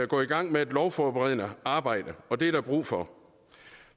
gå i gang med et lovforberedende arbejde og det er der brug for